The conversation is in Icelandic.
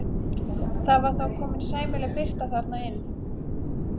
Það var þá komin sæmileg birta þarna inn.